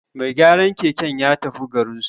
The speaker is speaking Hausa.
Mai gyaran keken ya tafi garinsu